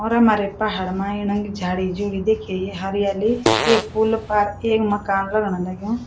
और हमारै पहाड मा एणक झाड़ी-झूड़ी देखि या हरियाली ये पुल पार ऐक मकान लगण लग्युं।